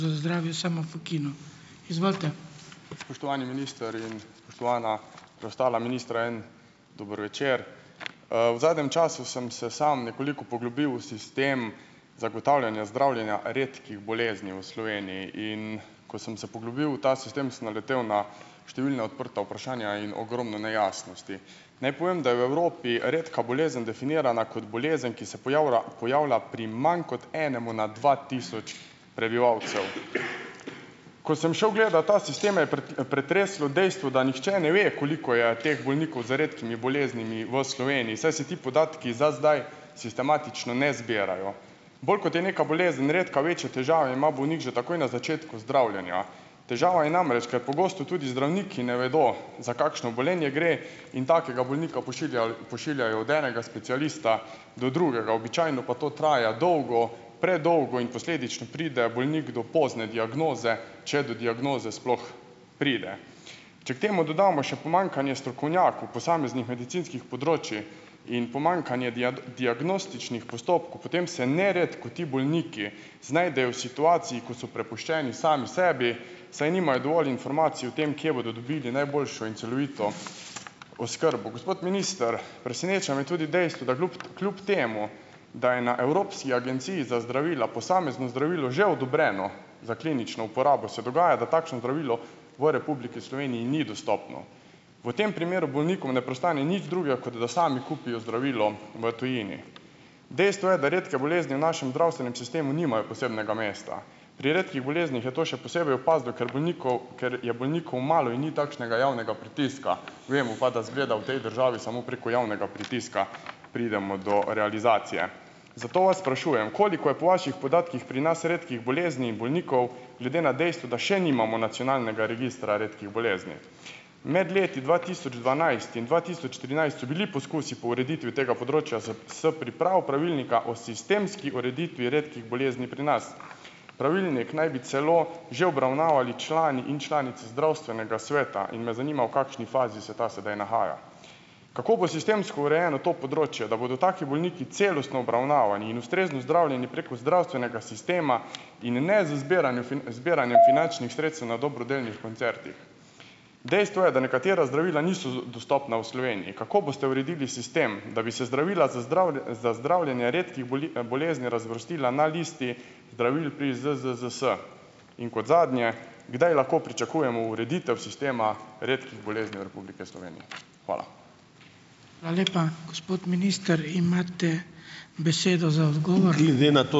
Spoštovani minister in spoštovana preostala ministra. En dober večer. V zadnjem času sem se samo nekoliko poglobil v sistem zagotavljanja zdravljenja redkih bolezni v Sloveniji. In ko sem se poglobil v ta sistem, sem naletel na številna odprta vprašanja in ogromno nejasnosti. Naj povem, da je v Evropi redka bolezen definirana kot bolezen, ki se pojavlja pojavlja pri manj kot enemu na dva tisoč prebivalcev. Ko sem šel gledat ta sistem, me je pretreslo dejstvo, da nihče ne ve, koliko je teh bolnikov z redkimi boleznimi v Sloveniji, saj se ti podatki za zdaj sistematično ne zbirajo. Bolj kot je neka bolezen redka, večje težave ima bolnik že takoj na začetku zdravljenja. Težava je namreč, ker pogosto tudi zdravniki ne vedo, za kakšno obolenje gre, in takega bolnika pošiljajo pošiljajo od enega specialista do drugega, običajno pa to traja dolgo, predolgo in posledično pride bolnik do pozno diagnoze, če do diagnoze sploh pride. Če k temu dodamo še pomanjkanje strokovnjakov posameznih medicinskih področij in pomanjkanje diagnostičnih postopkov, potem se neredko ti bolniki znajdejo v situaciji, ko so prepuščeni sami sebi, saj nimajo dovolj informacij o tem, kje bodo dobili najboljšo in celovito oskrbo. Gospod minister, preseneča me tudi dejstvo, da kljub kljub temu, da je na Evropski agenciji za zdravila posamezno zdravilo že odobreno za klinično uporabo, se dogaja, da takšno zdravilo v Republiki Sloveniji ni dostopno. V tem primeru bolnikom ne preostane nič drugega, kot da sami kupijo zdravilo v tujini. Dejstvo je, da redke bolezni v našem zdravstvenem sistemu nimajo posebnega mesta. Pri redkih boleznih je to še posebej opazno, ker bolnikov, ker je bolnikov malo in ni takšnega javnega pritiska, vemo pa, da izgleda v tej državi samo preko javnega pritiska pridemo do realizacije. Zato vas sprašujem, koliko je po vaših podatkih pri nas redkih bolezni in bolnikov glede na dejstvo, da še nimamo nacionalnega registra redkih bolezni. Med leti dva tisoč dvanajst in dva tisoč trinajst so bili poskusi po ureditvi tega področja z s pripravo pravilnika o sistemski ureditvi redkih bolezni pri nas. Pravilnik naj bi celo že obravnavali člani in članice zdravstvenega sveta. In me zanima, v kakšni fazi se ta sedaj nahaja. Kako bo sistemsko urejeno to področje, da bodo taki bolniki celostno obravnavani in ustrezno zdravljeni preko zdravstvenega sistema in ne z zbiranjem z zbiranjem finančnih sredstev na dobrodelnih koncertih. Dejstvo je, da nekatera zdravila niso, dostopna v Sloveniji. Kako boste uredili sistem, da bi se zdravila za za zdravljenje redkih bolezni razvrstila na listi zdravil pri ZZZS? In kot zadnje, kdaj lahko pričakujemo ureditev sistema redkih bolezni v Republiki Slovenije? Hvala.